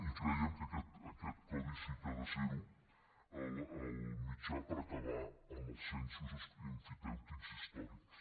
i creiem que aquest codi sí que ha de ser ho el mitjà per acabar amb els censos emfitèutics històrics